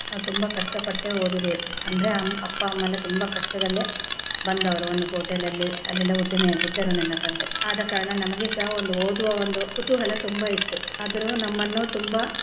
ನಾವು ತುಂಬಾ ಕಷ್ಟಪಟ್ಟೆ ಓದಿದ್ದೇವೆ ಅಂದ್ರೆ ಆಮ್~ ಅಪ್ಪಾ ಅಮ್ಮಾ ಎಲ್ಲಾ ತುಂಬಾ ಕಷ್ಟದಲ್ಲೇ ಬಂದವರು ಒಂದು hotel ಲಲ್ಲಿ ಅಲ್ಲಿ ಎಲ್ಲಾ ಉದ್ಯಮಿ ಆಗಿದ್ದರು ನನ್ನ ತಂದೆ ಆದ ಕಾರಣ ನಮಗೆ ಸಹ ಒಂದು ಓದುವ ಒಂದು ಕುತೂಹಲ ತುಂಬಾ ಇತ್ತು ಆದರೂ ನಮ್ಮನ್ನು ತುಂಬಾ.